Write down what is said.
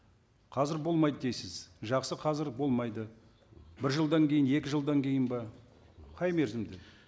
қазір болмайды дейсіз жақсы қазір болмайды бір жылдан кейін екі жылдан кейін бе қай мерзімде